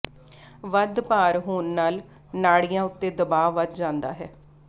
ਵੱਧ ਭਾਰ ਹੋਣ ਨਾਲ ਨਾੜੀਆਂ ਉੱਤੇ ਦਬਾਅ ਵੱਧ ਜਾਂਦਾ ਹੈ